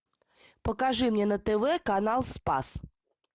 покажи мне на тв канал спас